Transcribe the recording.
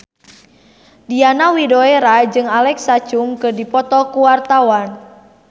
Diana Widoera jeung Alexa Chung keur dipoto ku wartawan